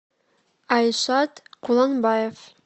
айшат куланбаев